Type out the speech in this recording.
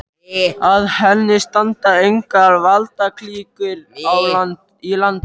Að henni standa engar valdaklíkur í landinu.